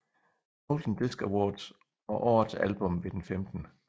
Golden Disc Awards og årets album ved den 15